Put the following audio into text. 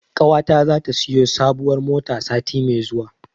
Ƙawata zata siyo sabuwar mota sati mai zuwa.